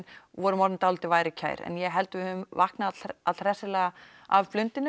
og vorum orðin dálítið værukær en ég held við höfum vaknað all hressilega af blundinum